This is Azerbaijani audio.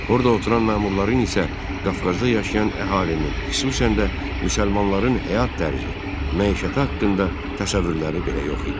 Orada oturan məmurların isə Qafqazda yaşayan əhalinin, xüsusən də müsəlmanların həyat tərzi, məişəti haqqında təsəvvürləri belə yox idi.